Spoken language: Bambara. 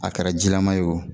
A kɛra jilaman ye o,